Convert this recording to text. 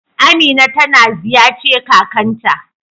Amina ta na ziyace kakan ta.